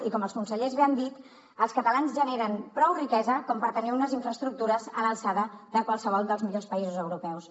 i com els consellers bé han dit els catalans generen prou riquesa com per tenir unes infraestructures a l’alçada de qualsevol dels millors països europeus